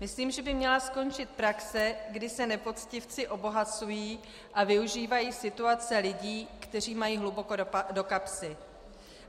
Myslím, že by měla skončit praxe, kdy se nepoctivci obohacují a využívají situace lidí, kteří mají hluboko do kapsy.